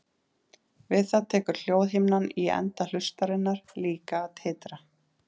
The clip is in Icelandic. Við það tekur hljóðhimnan í enda hlustarinnar líka að titra.